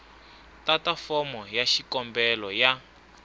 tata fomo ya xikombelo ya